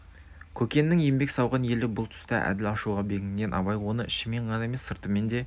көкеннің еңбек сауған елі бұл тұста әділ ашуға бекінген абай оны ішімен ғана емес сыртымен де